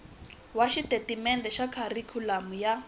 wa xitatimendhe xa kharikhulamu ya